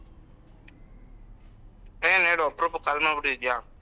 ಏನು ಹೇಳು ಅಪ್ರೂಪಕ್ call ಮಾಡ್ಬುಟ್ಟಿದ್ಯಾ?